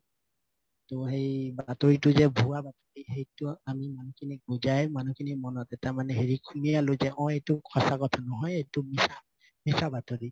ত সেই বাতৰিতো যে ভুয়া বাতৰি সেইটো মানুহখিনি বুজাই মানুহখিনি মনত এটা হেৰি যে অ এইটো সচাঁ কথা নহয় মিচা এইটো মিচা বাতৰি